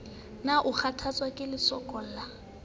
na o kgathatswa ke lesokolla